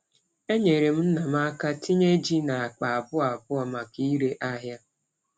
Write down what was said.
Enyere m nna m aka tinye ji n’akpa abụọ abụọ maka ire ahịa.